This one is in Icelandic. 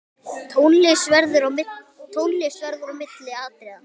Tónlist verður á milli atriða.